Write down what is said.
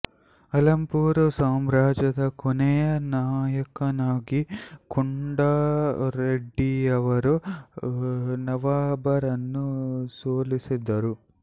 ಅಲಂಪೂರು ಸಾಮ್ರಾಜ್ಯದ ಕೊನೆಯ ನಾಯಕನಾಗಿ ಕೊಂಡಾ ರೆಡ್ಡಿಯವರು ನವಾಬರನ್ನು ಸೋಲಿಸಿದರು